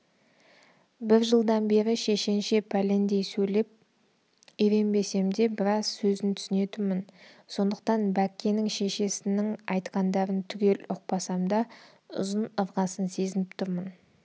бір жылдан бері шешенше пәлендей сөйлеп үйренбесем де біраз сөзін түсінетінмін сондықтан бәккенің шешесінін айтқандарын түгел ұқпасам да ұзын-ырғасын сезіп тұрмын